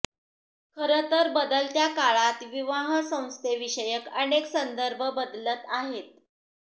खरं तर बदलत्या काळात विवाहसंस्थेविषयक अनेक संदर्भ बदलत आहेत